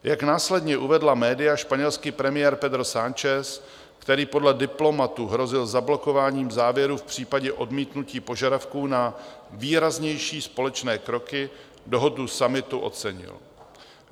Jak následně uvedla média, španělský premiér Pedro Sánchez, který podle diplomatů hrozil zablokováním záběrů v případě odmítnutí požadavků na výraznější společné kroky, dohodu summitu ocenil.